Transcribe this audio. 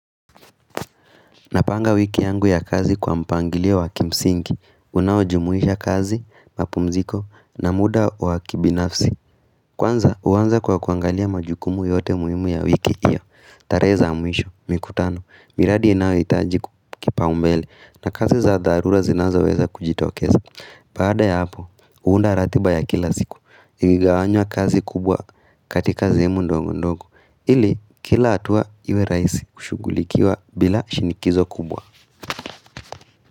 Napanga wiki yangu ya kazi kwa mpangilio wa kimsingi, unaojumuisha kazi, mapumziko na muda wakibinafsi. Kwanza huanza kwa kuangalia majukumu yote muhimu ya wiki hiyo, tarehe za mwisho, mikutano, miradi inayohitaji kipaumbele na kazi za dharura zinazoweza kujitokeza. Baada ya hapo, huunda ratiba ya kila siku, iligawanywa kazi kubwa katika sehemu ndogo ndogo, ili kila hatua iwe rahisi kushughulikiwa bila shinikizo kubwa.